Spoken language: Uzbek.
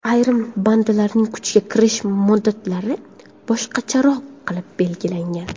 Ayrim bandlarning kuchga kirish muddatlari boshqacharoq qilib belgilangan.